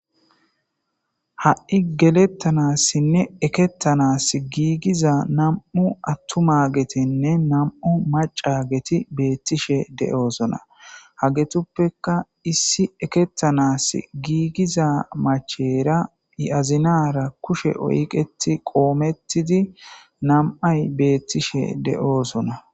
Ha'i geletanasinne eketanasi giigiza nam'u atumagetinne nam'u macageti betishe de'osona, hagetupeka issi eketanasi giigiza macheyra I azinara kushe oyketi qometidi nam'ayi beetishe de'osona.